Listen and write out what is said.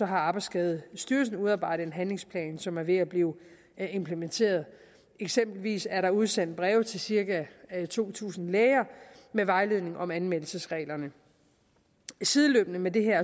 har arbejdsskadestyrelsen udarbejdet en handlingsplan som er ved at blive implementeret eksempelvis er der udsendt breve til cirka to tusind læger med vejledning om anmeldelsesreglerne sideløbende med det her